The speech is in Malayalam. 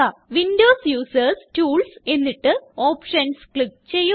വിൻഡോസ് യൂസർസ് ടൂൾസ് എന്നിട്ട് ഓപ്ഷൻസ് ക്ലിക്ക് ചെയ്യുക